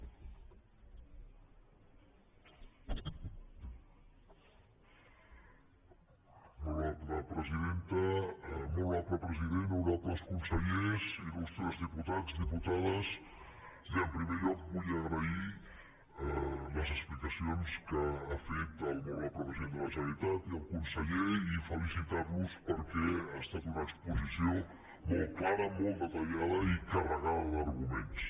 molt honorable president honorables consellers ilen primer lloc vull agrair les explicacions que han fet el molt honorable president de la generalitat i el conseller i felicitar los perquè ha estat una exposició molt clara molt detallada i carregada d’arguments